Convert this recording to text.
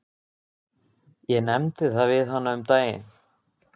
Ég nefndi það við hana um daginn.